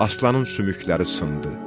Aslanın sümükləri sındı.